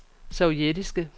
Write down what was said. sovjetiske